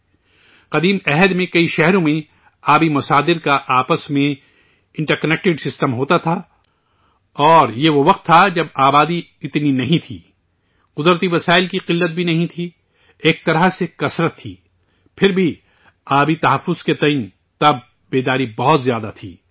زمانۂ قدیم میں کئی شہر میں آبی ذرائع کا آپس میں انٹر کنیکٹیڈ سسٹم ہوتا تھا اور یہ وہ وقت تھا، جب آبادی اتنی نہیں تھی، قدرتی وسائل کی قلت بھی نہیں تھی، ایک طرح سے فراوانی تھی، پھر بھی، آبی تحفظ کو لے کر، تب، بیداری بہت زیادہ تھی